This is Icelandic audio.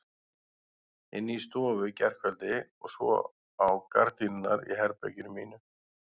Inni í stofu í gærkveldi og svo á gardínurnar í herberginu mínu.